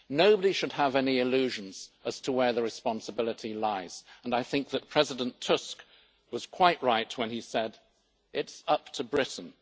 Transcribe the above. Nobody should have any illusions as to where the responsibility lies and I think that President Tusk was quite right when he said it is up to Britain.